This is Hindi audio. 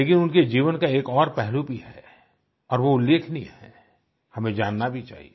लेकिन उनके जीवन का एक और पहलू भी है और वो उल्लेखनीय है हमें जानना भी चाहिए